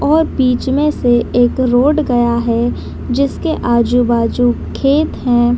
और बीच में से एक रोड गया है जिसके आजु-बाजु खेत है।